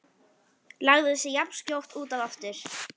Lagði sig jafnskjótt út af aftur.